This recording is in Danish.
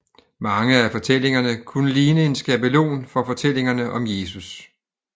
Mange af fortællingerne kunne ligne en skabelon for fortællingerne om Jesus